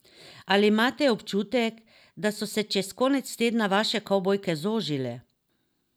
Ali imate občutek, da so se čez konec tedna vaše kavbojke zožile?